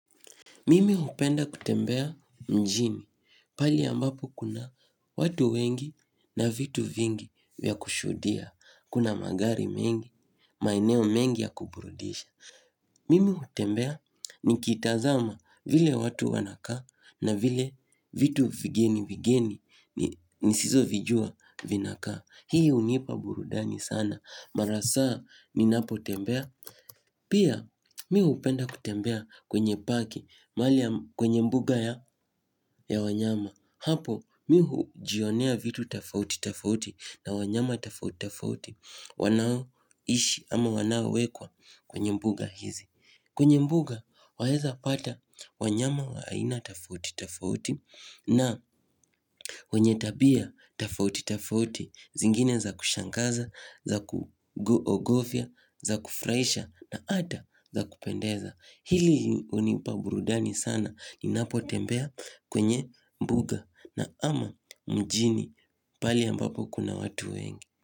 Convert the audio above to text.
Mimi hupenda kutembea mjini pahali ambapo kuna watu wengi na vitu vingi vya kushuhudia. Kuna magari mengi, maeneo mengi ya kuburudisha. Mimi hutembea nikitazama vile watu wanakaa na vile vitu vigeni vigeni nisizo vijua vinakaa. Hii hunipa burudani sana. Mara saa ninapotembea. Pia mi hupenda kutembea kwenye paki mahali kwenye mbuga ya wanyama. Hapo mimi hujionea vitu tafauti tafauti na wanyama tafauti tafauti wanaoishi ama wanaowekwa kwenye mbuga hizi. Kwenye mbuga waeza pata wanyama wa aina tafauti tafauti na wanye tabia tafauti tafauti zingine za kushangaza, za kuogofia, za kufuraisha na ata za kupendeza. Hili unipa burudani sana. Ninapotembea kwenye mbuga na ama mjini pahali ambapo kuna watu wengi.